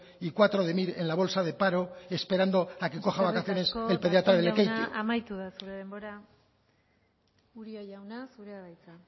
y cuatro de mir en la bolsa de paro esperando a que coja vacaciones el pediatra de lekeitio eskerrik asko darpón jauna amaitu da zure denbora uria jauna zurea da hitza